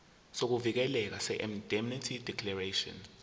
sokuvikeleka seindemnity declaration